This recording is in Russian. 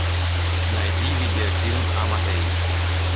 найди видеофильм амадей